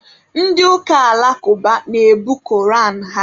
Ndị ụka alakụba na-ebu koran ha